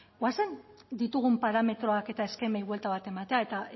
goazen ditugun parametroak eta eskemei buelta bat ematera eta